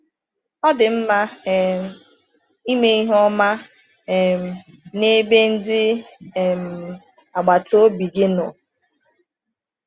Ọ dị mma um ime ihe ọma um n’ebe ndị um agbata obi gị nọ.